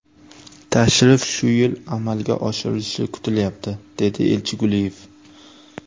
Tashrif shu yil amalga oshirilishi kutilyapti”, dedi elchi Guliyev.